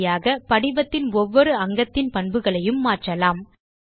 இப்படியாக படிவத்தின் ஒவ்வொரு அங்கத்தின் பண்புகளையும் மாற்றலாம்